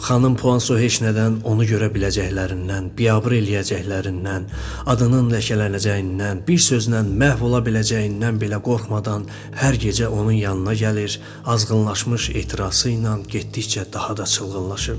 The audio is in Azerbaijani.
Xanım Puanso heç nədən onu görə biləcəklərindən, biabır eləyəcəklərindən, adının ləkələnəcəyindən, bir sözlə məhv ola biləcəyindən belə qorxmadan hər gecə onun yanına gəlir, azğınlaşmış ehtirası ilə getdikcə daha da çılğınlaşırdı.